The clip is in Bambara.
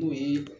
N'o ye